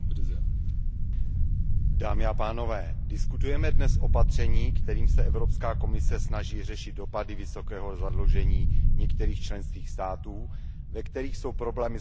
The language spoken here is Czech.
Diskutujeme dnes o opatření, kterým se Evropská komise snaží řešit dopady vysokého zadlužení některých členských států, ve kterých jsou problémy s likviditou a de facto poskytováním úvěrů.